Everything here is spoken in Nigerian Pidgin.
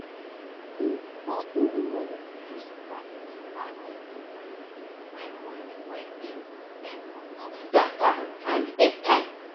di company money pipo sabi manage di money wey money wey dem spend on top data and airtime.